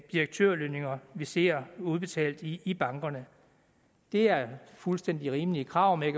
direktørlønninger vi ser udbetalt i i bankerne det er fuldstændig rimelige krav men